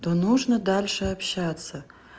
то нужно дальше общаться